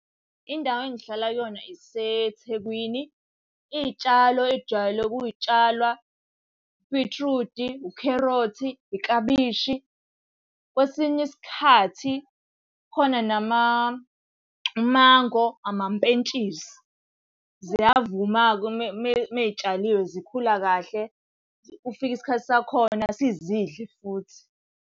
Indawo engihlala kuyona iseThekwini. Iy'tshalo engijwayele ukuy'tshala, ubhithrudi, ukherothi, iklabishi. Kwesinye isikhathi khona umango, amampentshisi. Ziyavuma-ke uma zitshaliwe zikhula kahle, kufika isikhathi sakhona sizidle futhi.